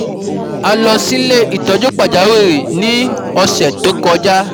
A lo si ile itoju pajawiri ni um ose to koja